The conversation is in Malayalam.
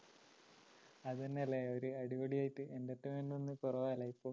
അതന്നെല്ലേ ഒരു അടിപൊളിയായിട്ട് entertainment കൊറവാണല്ലേ ഇപ്പം.